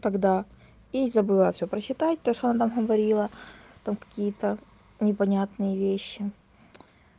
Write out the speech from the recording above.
тогда и забыла всё прочитать то что она говорила там какие-то непонятные вещи